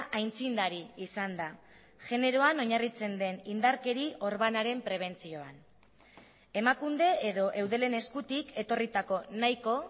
aitzindari izan da generoan oinarritzen den indarkeri orbanaren prebentzioan emakunde edo eudelen eskutik etorritako nahiko